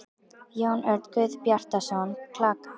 Jón Örn Guðbjartsson: Klaka?